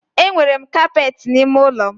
Enwere m kapeti n'ime ụlọ m.